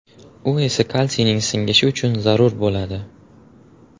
U esa kalsiyning singishi uchun zarur bo‘ladi.